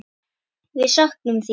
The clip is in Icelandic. Við söknum þín.